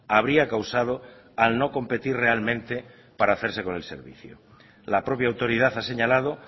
habría causado al no competir realmente para hacerse con el servicio la propia autoridad ha señalado